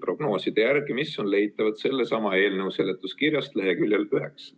prognooside järgi, mis on leitavad sellesama eelnõu seletuskirjast leheküljel 9.